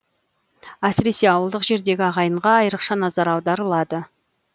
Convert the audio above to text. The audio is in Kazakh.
әсіресе ауылдық жердегі ағайынға айрықша назар аударылады